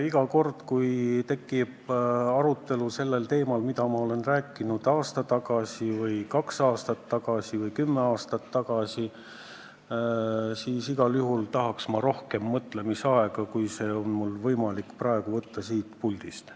Iga kord, kui tekib arutelu teemal, mida ma olen rääkinud aasta tagasi või kaks aastat tagasi või kümme aastat tagasi, siis igal juhul tahaks ma rohkem mõtlemisaega, kui mulle praegu siin puldis võimaldatakse.